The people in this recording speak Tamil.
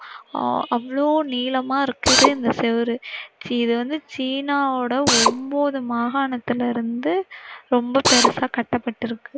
அஹ் அவளோ நீளமா இருக்குது இந்த செவுறு. இது வந்து சீனாவோட ஒன்பது மஹானத்துல இருந்து ரொம்ப பெருசா கட்டப்பட்டிருக்கு.